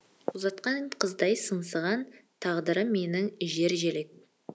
ұзатқан қыздай сыңсыған тағдырым менің жержелек